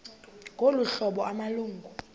ngolu hlobo amalungu